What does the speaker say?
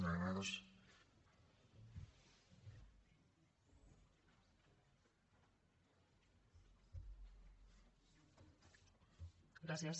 gràcies